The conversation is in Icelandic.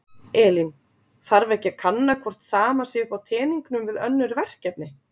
Elín: Þarf ekki að kanna hvort sama sé upp á teningnum við önnur verkefni?